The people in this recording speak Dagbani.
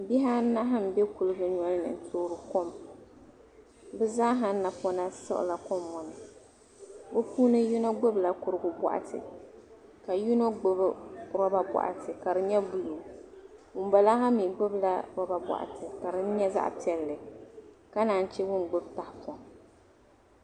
Bihi anahi n bɛ kuligi ŋo ni n toori kom bi zaa ha napona siɣila kom ŋo ni bi yino gbubila kurigu boɣatika yino gbubi roba boɣati ka di nyɛ buluu ŋunbala ha mii gbubila roba boɣati ka din nyɛ zaɣ piɛlli ka naan chɛ ŋun gbubi tahapoŋ